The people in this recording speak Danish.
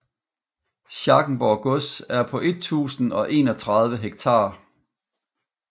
Schackenborg Gods er på 1031 hektar